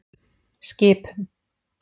Skipum